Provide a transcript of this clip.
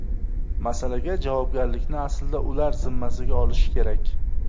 Masalaga javobgarlikni aslida ular zimmasiga olishi kerak.